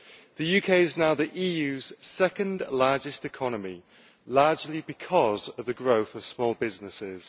The UK is now the EU's second largest economy, largely because of the growth of small businesses.